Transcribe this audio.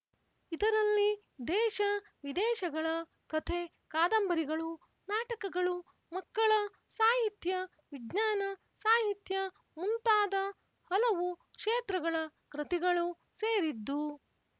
ಇದರಲ್ಲಿ ದೇಶ ವಿದೇಶಗಳ ಕಥೆ ಕಾದಂಬರಿಗಳೂ ನಾಟಕಗಳೂ ಮಕ್ಕಳ ಸಾಹಿತ್ಯ ವಿಜ್ಞಾನ ಸಾಹಿತ್ಯ ಮುಂತಾದ ಹಲವು ಕ್ಷೇತ್ರಗಳ ಕೃತಿಗಳೂ ಸೇರಿದ್ದು